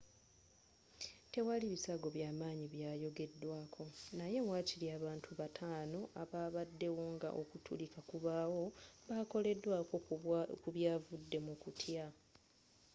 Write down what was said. tewaali bisago by'amaanyi byayogeddwako naye waakiri abantu bataano ababaddewo nga okutulika kubaawo bakoleddwako ku byavudde mu kutya